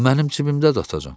O mənim cibimdədi, atacan.